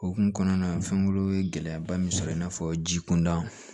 Okumu kɔnɔna na fɛnko ye gɛlɛyaba min sɔrɔ in n'a fɔ ji kunda